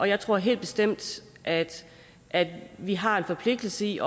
jeg tror helt bestemt at at vi har en forpligtelse i